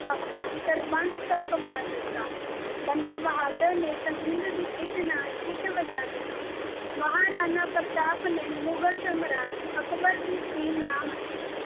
ਆਪਣਾ ਸਰਬੰਸ ਤਕ ਵਾਰ ਦਿੱਤਾ ਬੰਦਾ ਬਹਾਦਰ ਨੇ ਸਰਹੰਦ ਦੀ ਇੱਟ ਨਾਲ ਇੱਟ ਵਜਾ ਦਿੱਤੀ ਮਹਾਰਾਣਾ ਪ੍ਰਤਾਪ ਨੇ ਮੁਗਲ ਸਾਮਰਾਜ ਅਕਬਰ ਦੀ ਕੀਲ ਨਾ ਮੰਨੀ